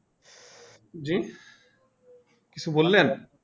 জি কিছু বললেন